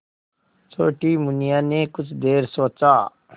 छोटी मुनिया ने कुछ देर सोचा